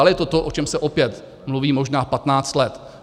Ale je to to, o čem se opět možná mluví 15 let.